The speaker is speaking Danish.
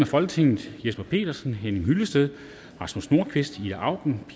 folketinget jesper petersen henning hyllested rasmus nordqvist ida auken og